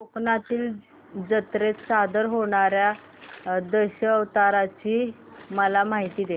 कोकणातील जत्रेत सादर होणार्या दशावताराची मला माहिती दे